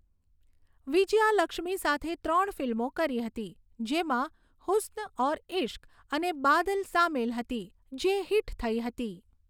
વિજયાલક્ષ્મી સાથે ત્રણ ફિલ્મો કરી હતી, જેમાં 'હુસ્ન ઔર ઇશ્ક' અને 'બાદલ' સામેલ હતી, જે હિટ થઈ હતી.